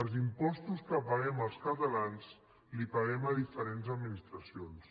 els impostos que paguem els catalans els paguem a diferents administracions